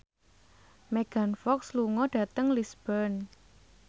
Megan Fox lunga dhateng Lisburn